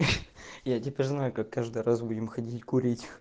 я теперь знаю как каждый раз будем ходить курить